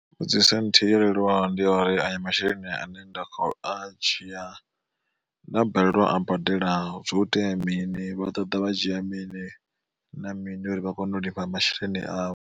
Mbudziso nthihi yo leluwa ndi ya uri aya masheleni ane nda kho a dzhia nda balelwa u a badela hu itea mini vha ḓoḓa vha dzhia mini na mini uri vha kone u lifha masheleni avho.